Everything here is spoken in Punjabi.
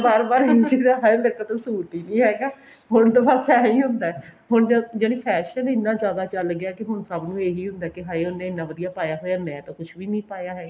ਹੁਣ ਬਾਰ ਬਾਰ ਇਹੀ ਸੋਚੀਦਾ ਹਾਏ ਮੇਰੇ ਕੋਲ ਤਾਂ suit ਈ ਨੀ ਹੈਗਾ ਹੁਣ ਤਾਂ ਬਸ ਇਹੀ ਹੁੰਦਾ ਜਾਨੀ fashion ਇੰਨਾ ਜਿਆਦਾ ਚੱਲ ਗਿਆ ਕਿ ਸਭ ਨੂੰ ਇਹੀ ਹੁੰਦਾ ਕਿ ਹਾਏ ਉਹਨੇ ਇੰਨਾ ਵਧੀਆ ਪਾਇਆ ਹੋਇਆ ਮੈਂ ਤਾਂ ਕੁੱਛ ਵੀ ਨੀ ਪਾਇਆ ਹੈਗਾ